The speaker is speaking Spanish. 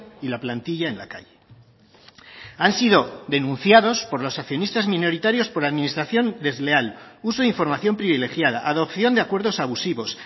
y la plantilla en la calle han sido denunciados por los accionistas minoritarios por administración desleal uso de información privilegiada adopción de acuerdos abusivos